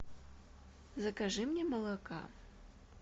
закажи мне молока